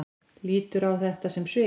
Lítur á þetta sem svik?